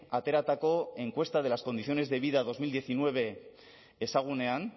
ateratako encuesta de las condiciones de vida bi mila hemeretzi ezagunean